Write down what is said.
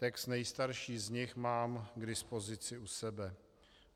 Text nejstarší z nich mám k dispozici u sebe.